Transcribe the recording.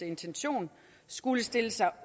intention skulle stille sig